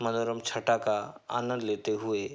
मनोरम छटा का आनंद लेते हुए।